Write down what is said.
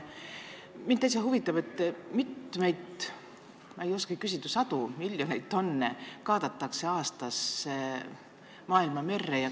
Mind täitsa huvitab, et mitmeid – ma ei oskagi küsida – sadu või miljoneid tonne kaadatakse aastas maailmamerre.